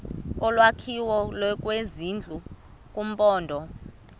olwakhiwo lwezindlu kumaphondo